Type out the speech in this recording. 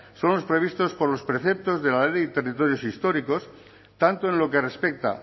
son los previstos por los preceptos de la ley de territorios históricos tanto en lo que respecta